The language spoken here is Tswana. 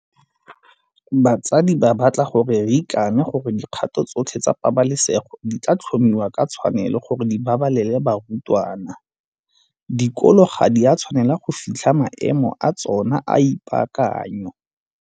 Batsadi ba batla gore re ikane gore dikgato tsotlhe tsa pabalesego di tla tlhomiwa ka tshwanelo gore di babalele barutwana. Dikolo ga di a tshwanela go fitlha maemo a tsona a ipaakanyo.